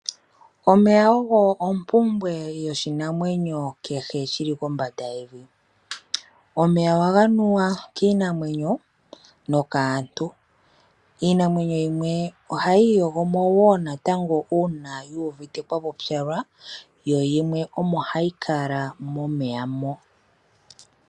Omeya ogo ompumbwe yoshinamwenyo kehe shili kombanda yevi, omeya ohaga nuwa kiinamwenyo, nokaantu. Iinamwenyo yimwe ohayi iyogo mo woo uuna yiwete kwapupyala, yo yimwe omo hayi kala momeya mo.